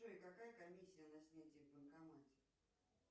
джой какая комиссия на снятие в банкомате